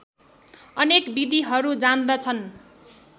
अनेक विधिहरू जान्दछन्